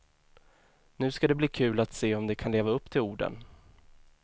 Nu ska det bli kul att se om de kan leva upp till orden.